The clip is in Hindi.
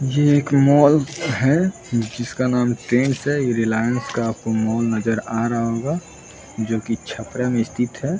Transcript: ये एक मॉल है जिसका नाम टेंस है ये रिलायंस का आपको मॉल नज़र आ रहा होगा जोकि छपरा में स्थित है ।